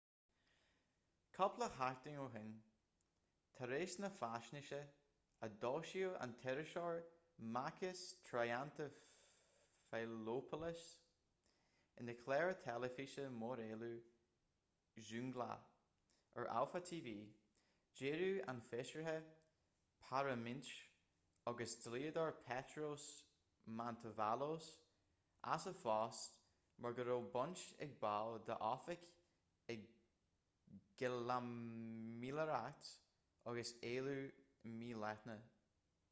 cúpla seachtain ó shin tar éis na faisnéise a d'fhoilsigh an t-iriseoir makis triantafylopoulos ina chlár teilifíse móréilimh zoungla ar alpha tv d'éirigh an feisire parlaiminte agus dlíodóir petros mantouvalos as a phost mar go raibh baint ag baill dá oifig i gcaimiléireacht agus éilliú mídhleathach